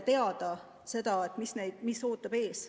On vaja teada, mis ootab ees.